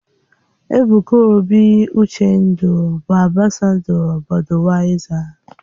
Ebuka obi-Uchendu bụ ambasadọ Bọduyaiza